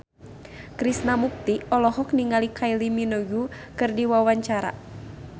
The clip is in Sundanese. Krishna Mukti olohok ningali Kylie Minogue keur diwawancara